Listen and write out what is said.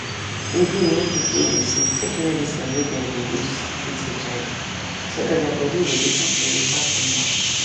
e good make people wey dey sick take medicine wey dem dey use treat hiv so that their body go dey kampe without any wahala